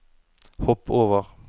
hopp over